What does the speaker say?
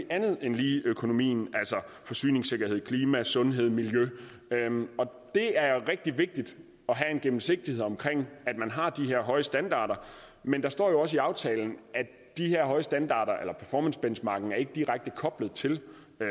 andet end lige økonomien altså forsyningssikkerhed klima sundhed miljø og det er rigtig vigtigt at have en gennemsigtighed omkring det at man har de her høje standarder men der står jo også i aftalen at de her høje standarder eller performancebenchmarking ikke direkte koblet til